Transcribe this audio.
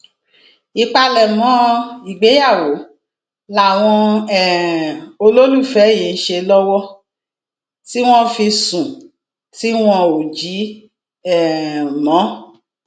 ìpalẹmọ ìgbéyàwó làwọn um olólùfẹ yìí ń ṣe lọwọ tí wọn fi sùn tí wọn ò jí um mọ